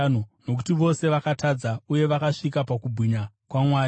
nokuti vose vakatadza uye vakasasvika pakubwinya kwaMwari,